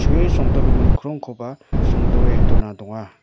songdogiming krongkoba songdoe dona donga.